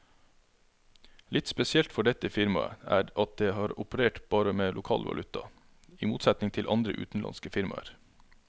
Litt spesielt for dette firmaet er at det har operert bare med lokal valuta, i motsetning til andre utenlandske firmaer.